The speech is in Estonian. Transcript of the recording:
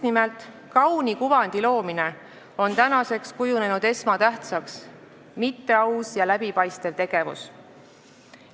Tänaseks on esmatähtsaks kujunenud just nimelt kauni kuvandi loomine, mitte aus ja läbipaistev tegevus.